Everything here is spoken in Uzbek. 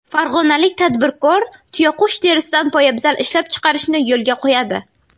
Farg‘onalik tadbirkor tuyaqush terisidan poyabzal ishlab chiqarishni yo‘lga qo‘yadi.